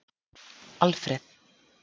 Alfreð